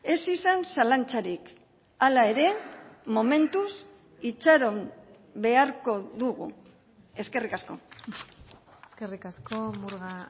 ez izan zalantzarik hala ere momentuz itxaron beharko dugu eskerrik asko eskerrik asko murga